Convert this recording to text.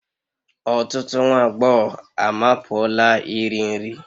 Ọtụtụ nwa agbọghọ amapuola iri nri